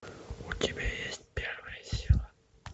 у тебя есть первая сила